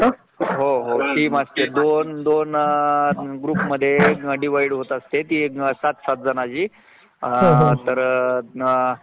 परत मग आपल शिक्षण पूर्ण होतंय मग कोर्स पूर्ण होतंय मग तेव्हा आपण